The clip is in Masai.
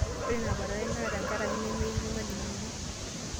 Ore ina batatai na tenkaraki nemetii ilmalimuni